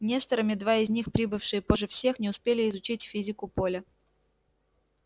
несторами два из них прибывшие позже всех не успели изучить физику поля